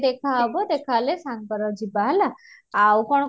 ଦେଖାହବା ଦେଖାହେଲେ ସାଙ୍ଗରେ ଯିବା ହେଲା ଆଉ କଣ?